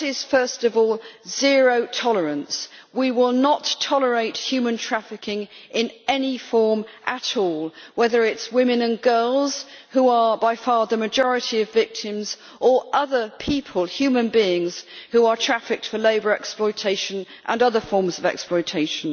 First of all, zero tolerance we will not tolerate human trafficking in any form at all, whether it is women and girls who are by far the majority of victims or other human beings who are trafficked for labour exploitation and other forms of exploitation.